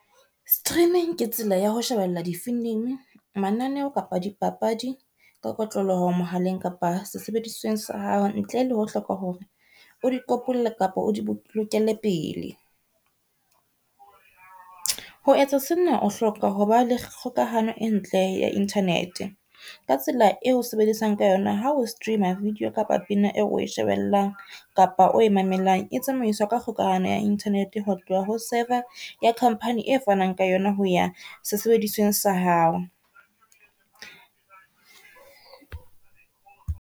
Streaming ke tsela ya ho shebella di-film, mananeho, kapa di papadi ka kotloloho mohaleng kapa sesebedisweng sa hao ntle le ho hloka hore o di kopolle kapa o di bolokele pele. Ho etsa sena, o hloka ho ba le kgokahano e ntle ya internet ka tsela eo o sebedisang ka yona ha o stream-a video kapa pina eo o shebellang kapa o e mamelang e tsamaiswa ka kgokahano ya internet hotloha ho server ya company e fanang ka yona ho ya sesebedisweng sa hao.